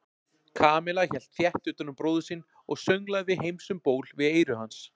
Kamilla hélt þétt utan um bróður sinn og sönglaði Heims um ból við eyra hans.